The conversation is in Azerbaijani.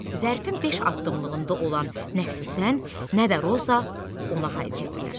Zərifin beş addımlığında olan nə Süsən, nə də Roza ona hay verdilər.